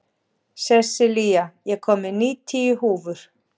Sessilía, ég kom með níutíu húfur!